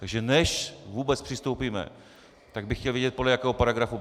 Takže než vůbec přistoupíme, tak bych chtěl vědět, podle jakého paragrafu.